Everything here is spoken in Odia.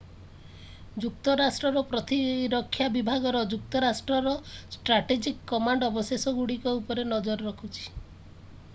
ଯୁକ୍ତରାଷ୍ଟ୍ରର ପ୍ରତିରକ୍ଷା ବିଭାଗର ଯୁକ୍ତରାଷ୍ଟ୍ରର ଷ୍ଟ୍ରାଟେଜିକ୍ କମାଣ୍ଡ ଅବଶେଷଗୁଡ଼ିକ ଉପରେ ନଜର ରଖିୁଛି